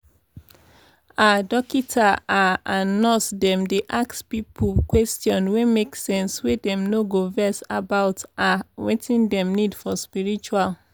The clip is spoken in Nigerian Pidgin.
ah dokita ah and nurse dem dey ask pipo question wey make sense wey dem no go vex about ah wetin dem need for spritual